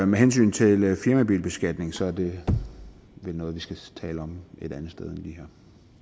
med hensyn til firmabilbeskatning så er det vel noget vi skal tale om et andet sted end lige